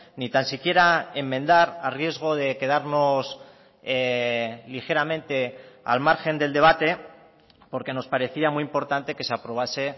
ni tan siquiera enmendar a riesgo de quedarnos ligeramente al margen del debate porque nos parecía muy importante que se aprobase